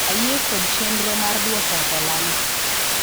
ayie kod chenro mar dwoko hola ni